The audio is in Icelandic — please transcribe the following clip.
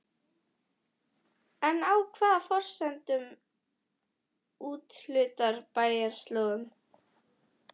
En á hvaða forsendum úthlutar bæjarráð lóðunum?